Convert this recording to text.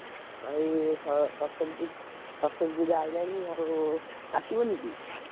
ଭାଇ ସ~ ସରସ୍ୱତୀ ପୂ, ସରସ୍ୱତୀ ପୂଜା ଆଇଲାଣି ଆଉ, ଆସିବନି କି?